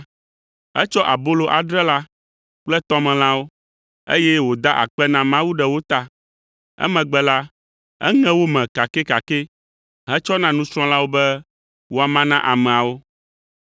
Etsɔ abolo adre la kple tɔmelãwo, eye wòda akpe na Mawu ɖe wo ta. Emegbe la, eŋe wo me kakɛkakɛ, hetsɔ na nusrɔ̃lawo be woama na ameawo.